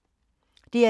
DR2